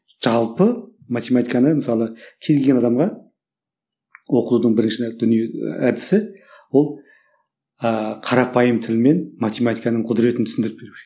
жалпы математиканы мысалы кез келген адамға оқудың бірінші дүние әдісі ол ааа қарапайым тілмен математиканың құдіретін түсіндіріп беру керек